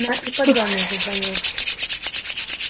на ипподроме зазвонил